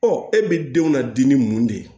e bɛ denw na dimi mun de ye